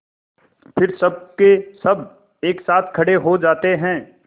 फिर सबकेसब एक साथ खड़े हो जाते हैं